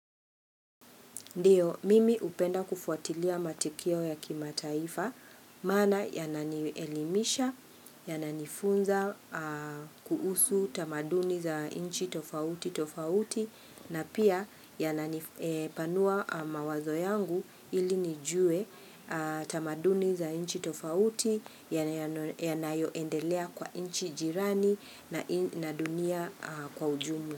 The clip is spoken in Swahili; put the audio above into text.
Ndiyo, mimi hupenda kufuatilia matukio ya kimataifa, mana yananielimisha, yananitunza kuusu tamaduni za inchi tofauti tofauti, na pia yananipanua mawazo yangu ili nijue tamaduni za inchi tofauti, yanayoendelea kwa inchi jirani na dunia kwa ujumu.